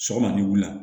Sɔgɔmada ni wula